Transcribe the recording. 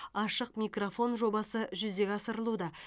ашық микрофон жобасы жүзеге асырылуда